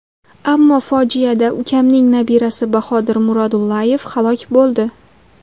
Ammo fojiada ukamning nabirasi Bahodir Murodullayev halok bo‘ldi.